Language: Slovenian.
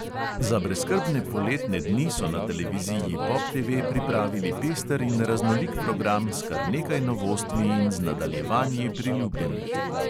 Za brezskrbne poletne dni so na televiziji pop TV pripravili pester in raznolik program s kar nekaj novostmi in z nadaljevanji priljubljenih.